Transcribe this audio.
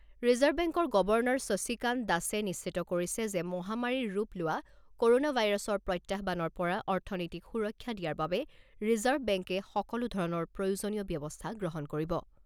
Reserve বেংকৰ governor Shashikanta দাসে নিশ্চিত কৰিছে যে মহামাৰীৰ ৰূপ লোৱা ক'ৰ'না ভাইৰাছৰ প্ৰত্যাহ্বানৰ পৰা অৰ্থনীতিক সুৰক্ষা দিয়াৰ বাবে ৰিজাৰ্ভ বেংকে সকলো ধৰণৰ প্ৰয়োজনীয় ব্যৱস্থা গ্ৰহণ কৰিব।